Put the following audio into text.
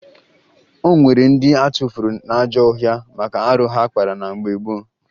O nwere ndị atụfuru n'ajọ ọhịa maka arụ ha kpara na mgbe gboo